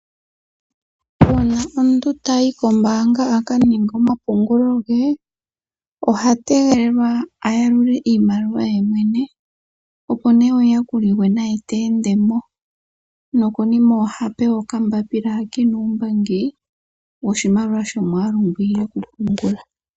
Uuna omuntu ta yi kombaanga a ka ninge omapungulo ge, oha tegelelwa a yalule iimaliwa ye mwene, opo ne omuyakuli gwe naye te ende mo, no konima oha pewa okambaapila ha ke na uumbangi woshimaliwa shomwaalu ngo iile ku pungula.